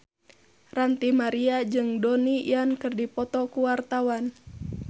Ranty Maria jeung Donnie Yan keur dipoto ku wartawan